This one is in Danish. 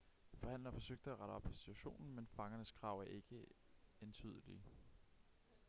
forhandlere forsøgte at rette op på situationen men fangernes krav er ikke entydelige